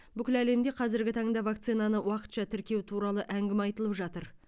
бүкіл әлемде қазіргі таңда вакцинаны уақытша тіркеу туралы әңгіме айтылып жатыр